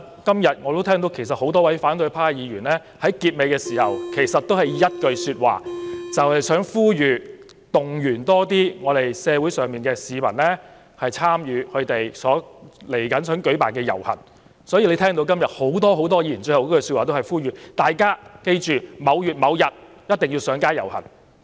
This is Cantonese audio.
今天我也聽到多位反對派議員在發言結束時均說出同一句話，便是呼籲、動員多些市民參與他們即將舉辦的遊行，所以大家聽到今天多位議員的結語都是呼籲大家記着在某月某日一定要上街遊行。